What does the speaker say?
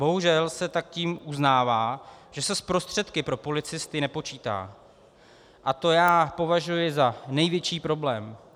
Bohužel se tak tím uznává, že se s prostředky pro policisty nepočítá, a to já považuji za největší problém.